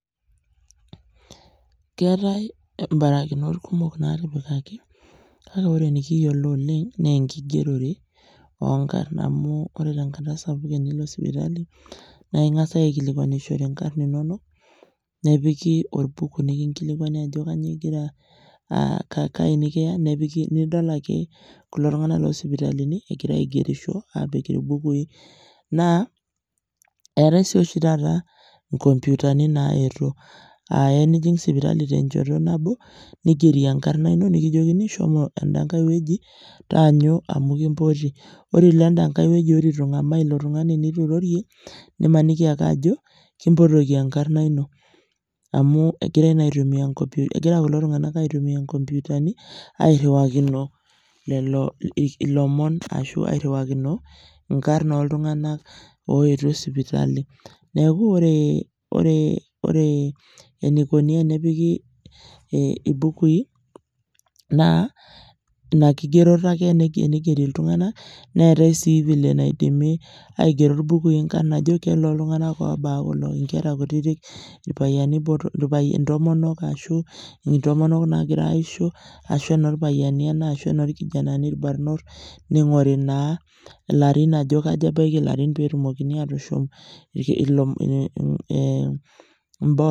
Keetae imbarakinot kumok naatipikaki, kake wore enikiyiolo oleng' naa enkigierore oonkarn. Amu wore tenkata sapuk tenilo sipitali, naa ekingas aikilikuanishore inkarn inonok, nepiki orbuku nikingilikuani ajo kainyoo igira aa kayii nikiya. Nepiki nidol ake kulo tunganak loosipitalini ekira aigerisho aapik irbukui. Naa etae sii oshi taata, inkomputani naayetuo, aa iya nijing sipitali tenchoto nabo, nigieri enkarna ino nikijokini shomo endenkae wueji, taanyu amu ekimboti. Wore pee ilo endenkae wueji wore itu ingamaa, ilo tungani nitu irorie, nimaniki ake ajo kimbotoki enkarna ino. Amu ekirae naa aitumia ekira kulo tunganak aitumia inkomputani, airiwakino lelo ilomon arashu airriwakino inkarn ooltunganak ooyetuo sipitali. Neeku wore enikuni enepiki ibukui, naa inia kigeroto ake tenigieri iltunganak, neetae sii vile naidimi aigero irbukui inkarn ajo kenooltunganak oobaya kulo, inkera kutitik, irpayiani botorok, intomonok ashu intomonok naakira aishoo ashu inoorpayiani ena ashu enoorkijanani ilbarnot, ningori naa ilarin ajo kaja ebaya ilarin pee etumoki aatushum